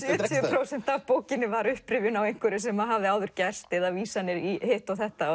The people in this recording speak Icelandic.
prósent af bókinni var upprifjun á einhverju sem hafði áður gerst eða vísanir í hitt og þetta